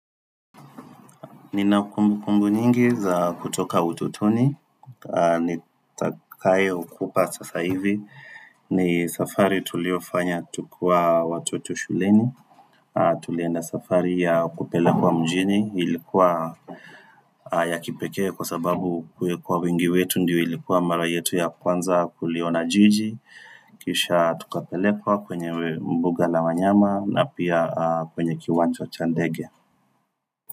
Nina kumbu kumbu nyingi za kutoka utotoni, nitakayo kupa sasa hivi, ni safari tuliofanya tukiwa watoto shuleni, tulienda safari ya kupelekwa mjini, ilikuwa ya kipekee kwa sababu kuwekwa wingi wetu ndio ilikuwa mara yetu ya kwanza tuliona jiji, kisha tukapelekwa kwenye mbuga la wanyama na pia kwenye kiwanja cha ndege.